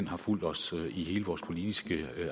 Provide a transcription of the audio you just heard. har fulgt os i hele vores politiske